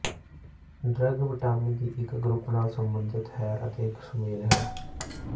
drug vitamin ਦੀ ਇੱਕ group ਨਾਲ ਸਬੰਧਿਤ ਹੈ ਅਤੇ ਇੱਕ ਸੁਮੇਲ ਹੈ